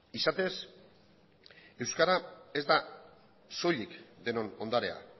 izatez euskara ez da soilik denon ondarea